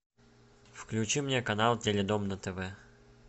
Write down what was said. включи мне канал теледом на тв